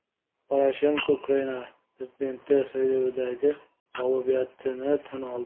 Poroshenko Ukraina prezidenti saylovidagi mag‘lubiyatini tan oldi .